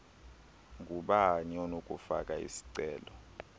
ngubani onokufaka isicelo